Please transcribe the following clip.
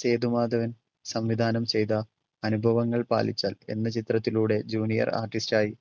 സേതുമാധവൻ സംവിധാനം ചെയ്‌ത അനുഭവങ്ങൾ പാളിച്ച എന്ന ചിത്രത്തിലൂടെ junior artist ആയി